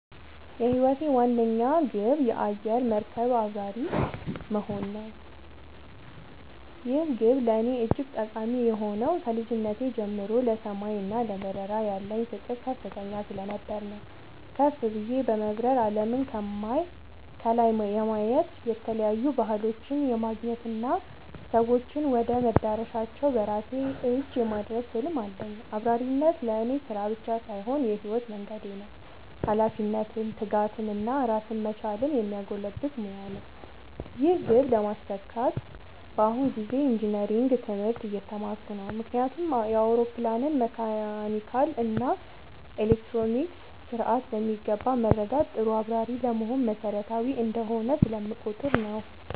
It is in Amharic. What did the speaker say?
የህይወቴ ዋነኛ ግብ የአየር መርከብ አብራሪ (Pilot) መሆን ነው። ይህ ግብ ለእኔ እጅግ ጠቃሚ የሆነው ከልጅነቴ ጀምሮ ለሰማይ እና ለበረራ ያለኝ ፍቅር ከፍተኛ ስለነበር ነው። ከፍ ብዬ በመብረር አለምን ከላይ የማየት፣ የተለያዩ ባህሎችን የማገናኘት እና ሰዎችን ወደ መዳረሻቸው በራሴ እጅ የማድረስ ህልም አለኝ። አብራሪነት ለእኔ ስራ ብቻ ሳይሆን የህይወት መንገዴ ነው - ኃላፊነትን፣ ትጋትን እና ራስን መቻልን የሚያጎለብት ሙያ ነው። ይህን ግብ ለማሳካት በአሁኑ ጊዜ ኢንጂነሪንግ (Engineering) ትምህርት እየተማርኩ ነው። ምክንያቱም የአውሮፕላንን መካኒካል እና ኤሌክትሮኒክስ ስርዓት በሚገባ መረዳት ጥሩ አብራሪ ለመሆን መሰረታዊ እንደሆነ ስለምቆጠር ነው።